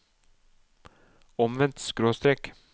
omvendt skråstrek